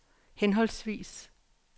henholdsvis